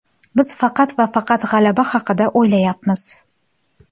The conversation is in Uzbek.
Biz faqat va faqat g‘alaba haqida o‘ylayapmiz.